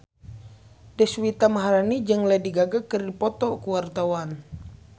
Deswita Maharani jeung Lady Gaga keur dipoto ku wartawan